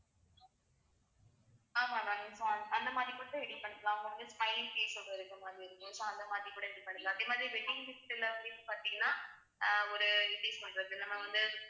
ஆமா ma'am இப்போ அந்த மாதிரி கூட ready பண்ணிக்கலாம் ஓட இருக்கு ma'am so அந்த மாதிரி கூட ready பண்ணிக்கலாம் அதே மாதிரி wedding gift ல வந்து இப்ப பார்த்தீங்கன்னா அஹ் ஒரு எப்படி சொல்லறது நம்ம வந்து